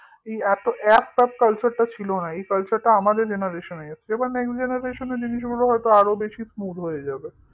এত app tap culture টা ছিল না এই culture টা আমাদের generation এ এসেছে এবার next generation এ আরো বেশি হয়তো smooth হয়ে যাবে